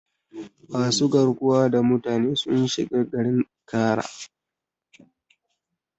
Masu garkuwa da mutane sun shiga garin Ikara.